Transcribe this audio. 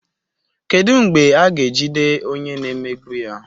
Kedu mgbe a ga-ejide onye na-emegbu ya?